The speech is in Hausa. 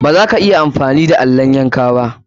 Baza ka iya amfani da allon yanka ba.